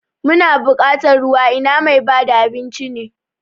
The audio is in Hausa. Muna bukatar ruwa ina mai bada abinci ne?